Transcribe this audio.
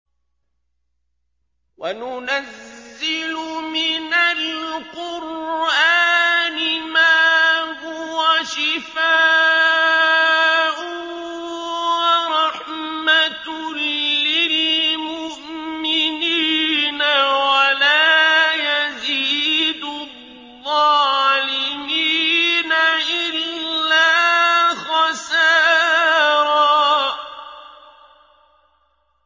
وَنُنَزِّلُ مِنَ الْقُرْآنِ مَا هُوَ شِفَاءٌ وَرَحْمَةٌ لِّلْمُؤْمِنِينَ ۙ وَلَا يَزِيدُ الظَّالِمِينَ إِلَّا خَسَارًا